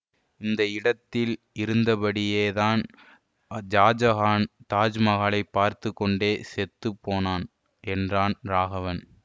இந்த இடத்தில் இருந்தபடியேதான் ஷாஜஹான் தாஜ்மகாலை பார்த்து கொண்டே செத்து போனான் என்றான் ராகவன்